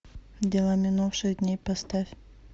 дела минувших дней поставь